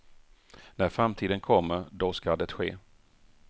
När framtiden kommer, då ska det ske.